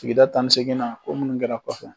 Sigida tan ni seginna ko minnu kɛra kɔfɛ.